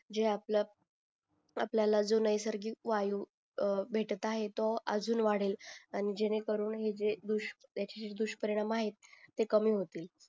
जे आपल आपल्याला जो नैसर्गिक वायू अं भेटत आहे तो जाऊन वाढेल आणि जेणे करून हे जे त्याचे ढुश परिणाम आहेत ते कमी होतील